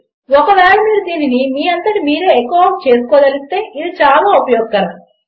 ఒకవేళ మీరు దీనిని మీ అంతట మీరే ఎఖో ఔట్ చేసుకోదలిస్తే ఇది చాలా ఉపయోగకరము